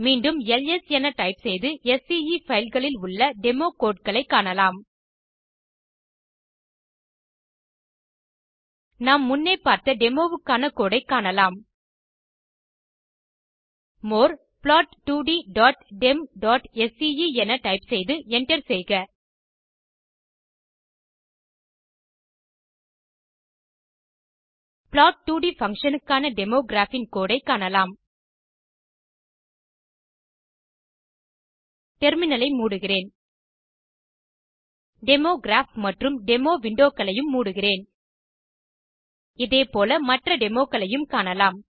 மீண்டும் எல்எஸ் என டைப் செய்து ஸ்கே பைல் களில் உள்ள டெமோ கோடு களை காணலாம் நாம் முன்னே பார்த்த டெமோ வுக்கான கோடு ஐ காணலாம் மோர் plot2ddemஸ்கே என டைப் செய்து enter செய்க plot2ட் பங்ஷன் க்கான டெமோ கிராப் இன் கோடு ஐ காணலாம் டெர்மினல் ஐ மூடுகிறேன் டெமோ கிராப் மற்றும் டெமோ விண்டோ களையும் மூடுகிறேன் இதே போல மற்ற டெமோ க்களையும் காணலாம்